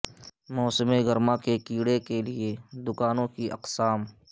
موسم گرما کے کیڑے کے لئے دکانوں کی اقسام